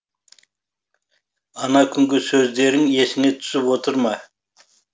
ана күнгі сөздерің есіңе түсіп отыр ма